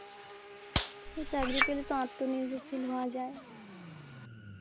চাকরি পেলে তো আত্মনির্ভরশীল হওয়া যায়